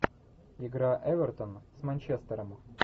игра эвертон с манчестером